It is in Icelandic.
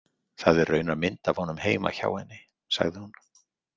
Það er raunar mynd af honum heima hjá henni, sagði hún.